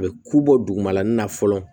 A bɛ ku bɔ dugumalan na fɔlɔ